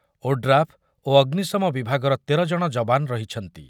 , ODRAF ଓ ଅଗ୍ନିଶମ ବିଭାଗର ତେର ଜଣ ଯବାନ ରହିଛନ୍ତି ।